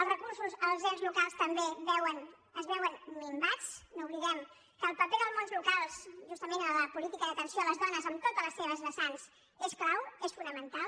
els recursos als ens locals també es veuen minvats no oblidem que el paper del món local justament en la política d’atenció a les dones en totes les seves vessants és clau és fonamental